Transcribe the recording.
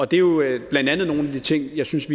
det er jo blandt andet nogle af de ting jeg synes